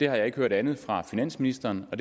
har ikke hørt andet fra finansministeren og